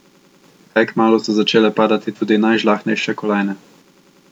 Kaj kmalu so začele padati tudi najžlahtnejše kolajne.